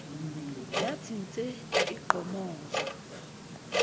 yathi nse igqomoza